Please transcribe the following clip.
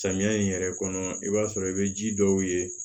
Samiya in yɛrɛ kɔnɔ i b'a sɔrɔ i be ji dɔw ye